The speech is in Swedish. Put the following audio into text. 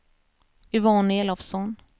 Yvonne Elofsson